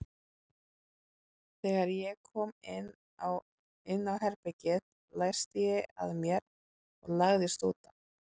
Þegar ég kom inn á herbergið læsti ég að mér og lagðist út af.